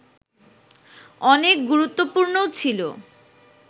অনেক গুরুত্বপূর্ণও ছিল